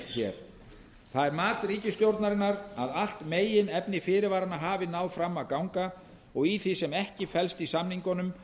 það er mat ríkisstjórnarinnar að allt meginefni fyrirvaranna hafi náð fram að ganga og því sem ekki felst í samningunum